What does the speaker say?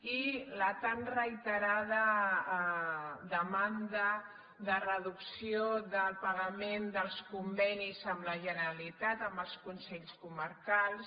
i la tan reiterada demanda de reducció del pagament dels convenis amb la generalitat amb els consells comarcals